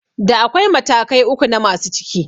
Da akwai matakai uku na masu ciki